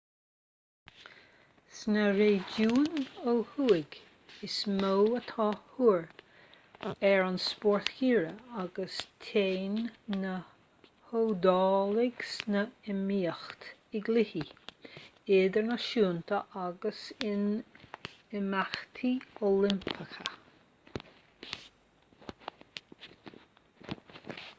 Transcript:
sna réigiúin ó thuaidh is mó atá tóir ar an spórt geimhridh agus téann na hiodálaigh san iomaíocht i gcluichí idirnáisiúnta agus in imeachtaí oilimpeacha